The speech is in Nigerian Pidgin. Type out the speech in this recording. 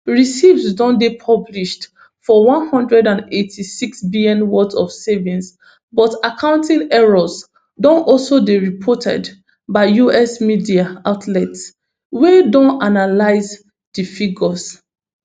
receipts don dey published for one hundred and eighty-sixbn worth of savings but accounting errors don also dey reported by us media outlets wey don analyse di figures